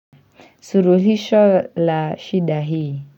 Suluhisho la shida hii.